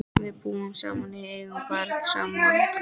Við búum saman og eigum barn saman.